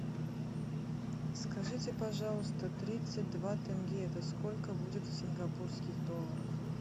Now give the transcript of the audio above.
скажите пожалуйста тридцать два тенге это сколько будет в сингапурских долларах